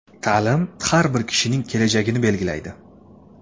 Ta’lim har bir kishining kelajagini belgilaydi.